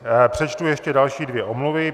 Přečtu ještě další dvě omluvy.